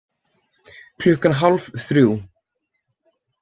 Klukkan hálf þrjú